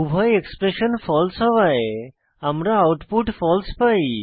উভয় expression false হওয়ায় আমরা আউটপুট ফালসে পাই